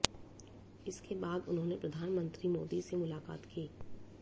इसके बाद उन्होंने प्रधानमंत्री मोदी से मुलाकात की